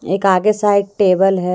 एक आगे side table है।